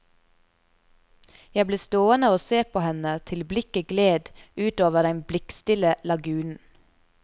Jeg ble stående å se på henne til blikket gled utover den blikkstille lagunen.